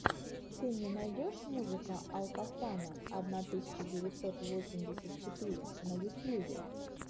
ты мне найдешь музыка алкофана одна тысяча девятьсот восемьдесят четыре на ютьюбе